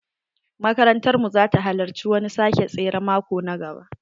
Makarantar mu za ta halarci wani sake tsere maƙo na gaba.